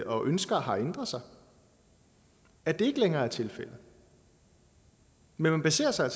og ønsker har ændret sig at det ikke længere er tilfældet men man baserer sig